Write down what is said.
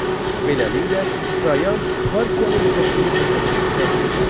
Beləliklə, Trayan Parfiyanın fəthini başa çatdıra bilmədi.